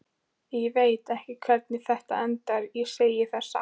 Ég veit ekki hvernig þetta endar, ég segi það satt.